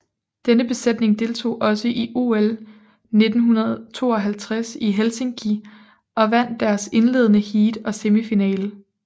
Denne besætning deltog også i OL 1952 i Helsinki og vandt deres indledende heat og semifinale